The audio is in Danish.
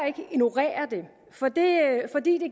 ikke ignorere det for det